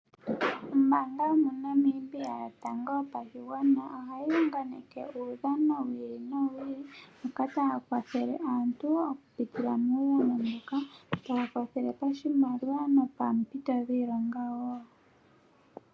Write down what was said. Ombaanga yomoNamibia yotango yopashigwana ohayi unganeke uudhano wi ili nowi ili moka taya kwathele aantu oku pitila muudhano mbuka. Taya kwathele pashimaliwa nopoompito dhiilonga wo.